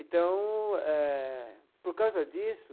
Então eh, por causa disso,